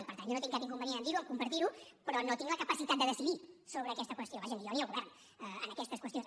i per tant jo no tinc cap inconvenient a dir ho a compartir ho però no tinc la capacitat de decidir sobre aquesta qüestió vaja ni jo ni el govern en aquestes qüestions